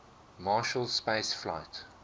marshall space flight